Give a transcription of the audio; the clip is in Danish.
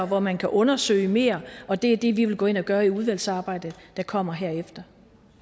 hvor man kan undersøge mere og det er det vi vil gå ind og gøre i udvalgsarbejdet der kommer herefter